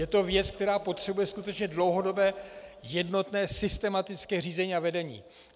Je to věc, která potřebuje skutečně dlouhodobé jednotné systematické řízení a vedení.